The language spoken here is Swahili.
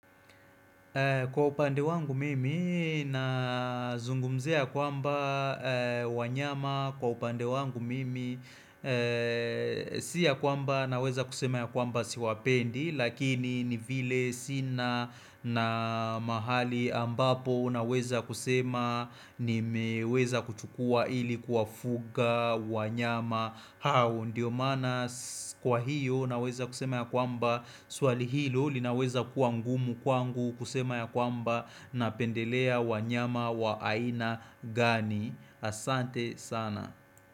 Kwa upande wangu mimi na zungumzia ya kwamba wanyama kwa upande wangu mimi Si ya kwamba naweza kusema ya kwamba siwapendi Lakini ni vile sina na mahali ambapo naweza kusema nimeweza kuchukua ili kuwafuga wanyama hao ndiyo maana kwa hiyo naweza kusema ya kwamba swali hilo linaweza kuwa ngumu kwangu kusema ya kwamba napendelea wanyama wa aina gani asante sana.